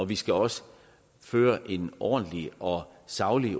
vi skal også føre en ordentlig og saglig